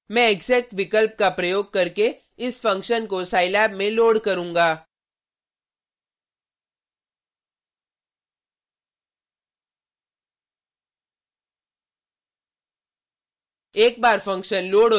मैं exec विकल्प का प्रयोग करके इस फंक्शन को scilab में लोड करूँगा